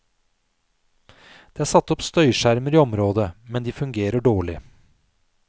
Det er satt opp støyskjermer i området, men de fungerer dårlig.